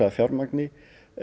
fjármagni